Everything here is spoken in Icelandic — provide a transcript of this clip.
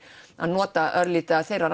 að nota örlítið af þeirra